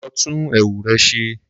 Lọ tún ẹwù rẹ ṣe